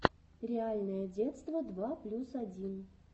реальное детство два плюс один